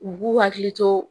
U k'u hakili to